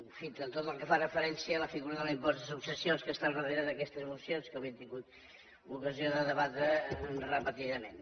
en fi tot el que fa referència a la figura de l’impost de successions que està al darrere d’aquestes mocions que avui hem tingut l’ocasió de debatre repetidament